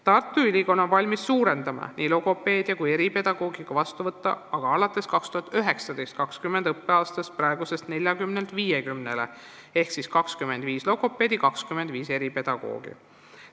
Tartu Ülikool on valmis suurendama nii logopeedia kui eripedagoogika vastuvõttu alates 2019/2020. õppeaastast praeguselt 40-lt 50-le ehk siis 25 logopeedi ja 25 eripedagoogi.